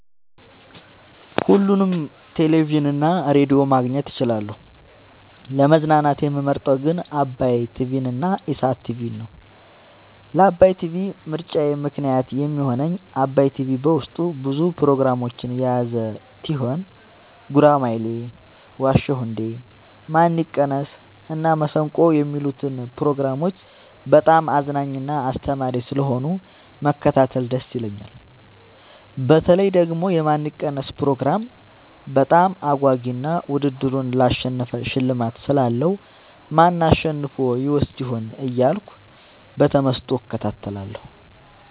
ሁሉንም ቴሌቪዥን እና ሬዲዮ ማግኘት እችላለሁ: : ለመዝናናት የምመርጠዉ ግን ዓባይ ቲቪንና ኢሣት ቲቪን ነዉ። ለዓባይ ቲቪ ምርጫየ ምክንያት የሚሆነኝ ዓባይ ቲቪ በዉስጡ ብዙ ፕሮግራሞችን የያዘ ቲሆን ጉራማይሌ የዋ ዉ እንዴ ማን ይቀነስ እና መሠንቆ የሚሉትን ፕሮግራሞች በጣም አዝናኝና አስተማሪ ስለሆኑ መከታተል ደስ ይለኛል። በተለይ ደግሞ የማን ይቀነስ ፕሮግራም በጣም አጓጊ እና ዉድድሩን ላሸነፈ ሽልማት ስላለዉ ማን አሸንፎ ይወስድ ይሆን እያልኩ በተመስጦ እከታተላለሁ።